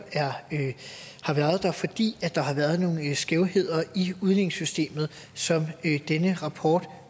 har fordi der har været nogle skævheder i udligningssystemet som denne rapport